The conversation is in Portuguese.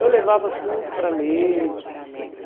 Eu levava tudo para ler. Tudo